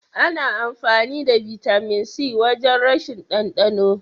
Ana amfani da bitamin C wajen rashin ɗandano.